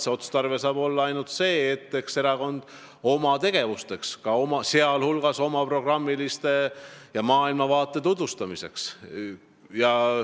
Minu arvates tuleks seda kasutada kogu oma tegevuseks, sh oma programmi ja maailmavaate tutvustamiseks.